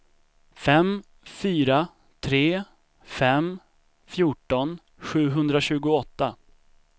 fem fyra tre fem fjorton sjuhundratjugoåtta